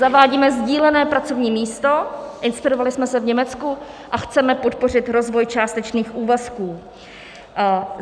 Zavádíme sdílené pracovní místo, inspirovali jsme se v Německu, a chceme podpořit rozvoj částečných úvazků.